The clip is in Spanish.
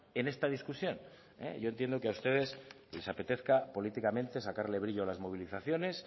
en esta discusión yo entiendo que a ustedes les apetezca políticamente sacarle brillo a las movilizaciones